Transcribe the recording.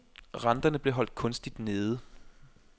Renterne blev holdt kunstigt nede.